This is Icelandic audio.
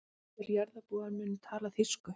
Allir jarðarbúar munu tala þýsku.